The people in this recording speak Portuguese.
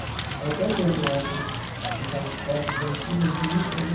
Estava até vendo ontem essas fotos antigas, bonitas, né?